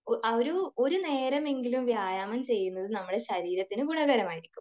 ആ ഒരു നേരമെങ്കിലും വ്യായാമം ചെയ്യുന്നത് നമ്മുടെ ശരീരത്തിന് ഗുണകരമായിരിക്കും .